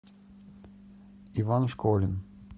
иван школин